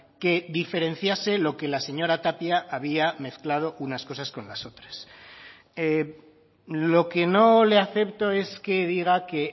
que diferenciase lo que la señora tapia había mezclado unas cosas con las otras lo que no le acepto es que diga que